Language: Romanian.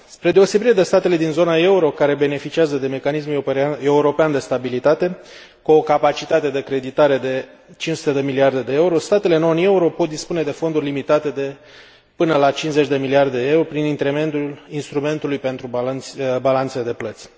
Spre deosebire de statele din zona euro, care beneficiază de Mecanismul european de stabilitate, cu o capacitate de creditare de 500 de miliarde de euro, statele non euro pot dispune de fonduri limitate de până la 50 de miliarde de euro, prin intermediul instrumentului pentru balanțele de plăți.